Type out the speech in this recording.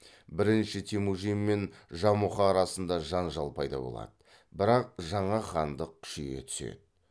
бірінші темүжін мен жамұха арасында жанжал пайда болады бірақ жаңа хандық күшейе түседі